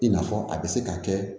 I n'a fɔ a bɛ se ka kɛ